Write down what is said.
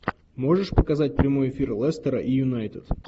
можешь показать прямой эфир лестера и юнайтед